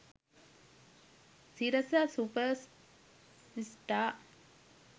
sirasa super star